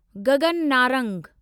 Gagan Narang